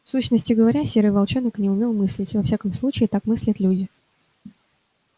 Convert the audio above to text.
в сущности говоря серый волчонок не умел мыслить во всяком случае так мыслят люди